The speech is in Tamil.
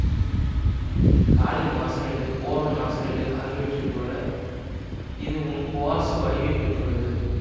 காலியம் ஆர்செனேடு போரான் ஆர்செனேடு ஆகியவற்றை போல இதுவும் குவார்ட்சு வடிவைப் பெற்றுள்ளது